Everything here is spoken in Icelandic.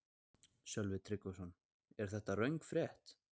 Sölvi Tryggvason: Er þetta röng frétt?